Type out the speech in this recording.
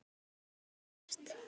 Svart, svart, svart.